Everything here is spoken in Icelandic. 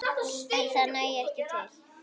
En það nægi ekki til.